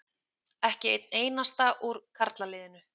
Ekki einn einasta úr karlaliðinu.